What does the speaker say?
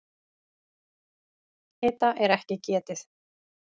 Hita er ekki getið.